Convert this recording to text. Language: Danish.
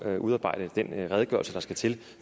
at udarbejde den redegørelse der skal til